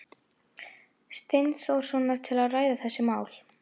Steinþórssonar til að ræða þessi mál.